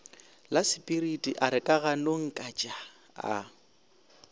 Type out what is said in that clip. lasepiriti a re kaganongkatšaa a